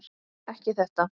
Ekki þetta.